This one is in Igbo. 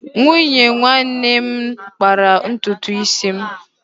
Nwunye nwanne nna m kpara ntutu m isi.